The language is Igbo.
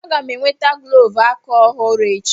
Aga m e nweta glọvu aka ọhụrụ echi.